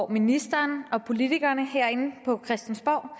ministeren og politikerne herinde på christiansborg